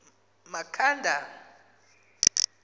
makhanda